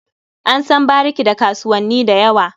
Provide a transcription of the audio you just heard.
An san bariki da kasuwanni da yawa.